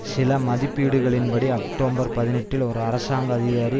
சில மதிப்பீடுகளின் படி அக்டோபர் பதினெட்டில் ஒரு அரசாங்க அதிகாரி